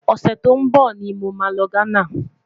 ọsẹ tó n bó ní mọ má ló ghánà